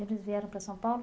E eles vieram para São Paulo?